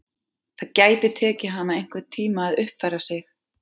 Það gæti tekið hana einhvern tíma að uppfæra sig.